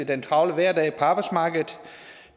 den travle hverdag på arbejdsmarkedet